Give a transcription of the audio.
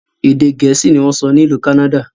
Èdè gẹ̀ẹ́sì ni wọn ń sọ n'ilu Kánádà